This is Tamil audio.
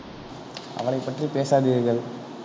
அவளை பற்றி பேசாதீர்கள்.